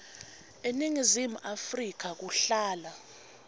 eningizimu afrika kuhlala